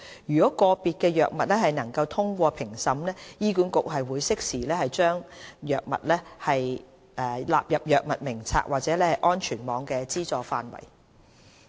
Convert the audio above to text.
如個別新藥物能通過評審，醫管局會適時把該藥納入藥物名冊或安全網的資助範圍。